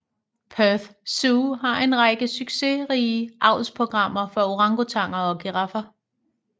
Perth Zoo har en række succesrige avlsprogrammer for orangutanger og giraffer